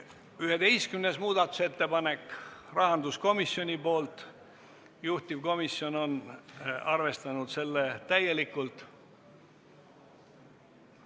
11. muudatusettepanek on rahanduskomisjonilt, juhtivkomisjon on arvestanud seda täielikult.